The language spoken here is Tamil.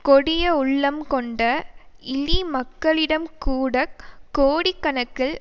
கொடிய உள்ளம் கொண்ட இழிமக்களிடம்கூடக் கோடிக்கணக்கில்